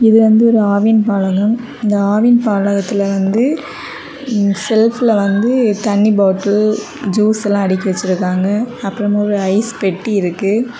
இது வந்து ஒரு ஆவின் பாலகம் இந்த ஆவின் பாலகத்துல வந்து செல்ப்ல வந்து தண்ணி பாட்டில் ஜூஸ் எல்லாம் அடுக்கி வச்சிருக்காங்க அப்புறம் ஐஸ் பெட்டி இருக்கு.